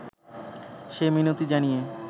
সে মিনতি জানিয়ে